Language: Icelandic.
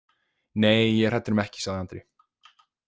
Nei, ég er hræddur um ekki, sagði Andri.